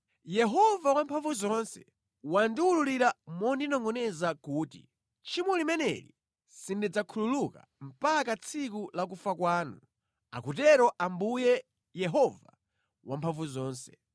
Yehova Wamphamvuzonse wandiwululira mondinongʼoneza kuti, “Tchimo limeneli sindidzakhululuka mpaka tsiku la kufa kwanu,” akutero Ambuye, Yehova Wamphamvuzonse.